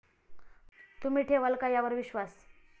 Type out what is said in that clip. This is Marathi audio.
तुम्ही ठेवाल का यावर विश्वास?